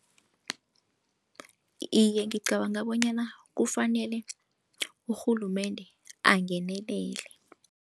Iye, ngicabanga bonyana kufanele urhulumende angenelele.